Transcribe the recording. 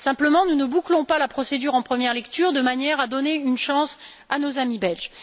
Simplement, nous ne bouclons pas la procédure en première lecture de manière à donner une chance à nos amis belges.